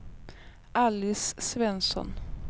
Alice Svensson